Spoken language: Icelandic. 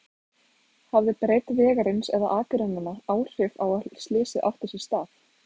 Hafði breidd vegarins eða akreinanna áhrif á að slysið átti sér stað?